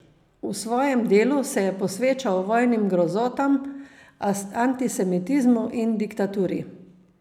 V svojem delu se je posvečal vojnim grozotam, antisemitizmu in diktaturi.